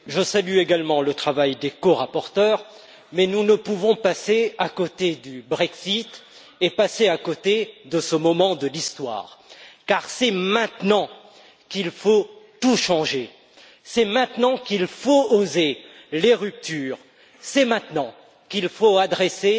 Madame la Présidente, je salue également le travail des corapporteurs, mais nous ne pouvons passer à côté du Brexit et de ce moment de l'histoire, car c'est maintenant qu'il faut tout changer, c'est maintenant qu'il faut oser les ruptures, c'est maintenant qu'il faut adresser